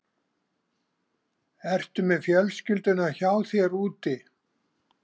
Ertu með fjölskylduna hjá þér úti?